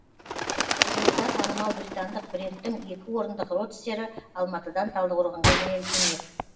жуырда танымал британдық брендтің екі орындық родстері алматыдан талдықорғанға жөнелтілмек